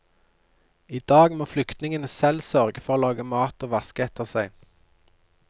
I dag må flyktningene selv sørge for å lage mat og vaske etter seg.